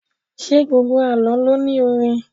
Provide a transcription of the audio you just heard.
Ṣé gbogbo Àlọ́ lo ní orin?